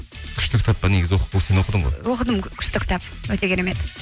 күшті кітап па негізі сен оқыдың ғой оқыдым күшті кітап өте керемет